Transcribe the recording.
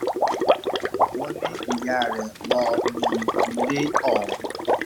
wọ́n ní ìyá rẹ̀ lọ ní ilé ọ̀hún